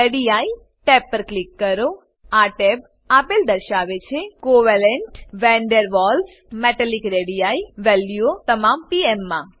ready tab પર click કરો આ ટેબ આપેલ દર્શાવે છે કોવેલેન્ટ વન ડેર વાલ્સ અને મેટાલિક રેડી વેલ્યુઓ તમામ પીએમ માં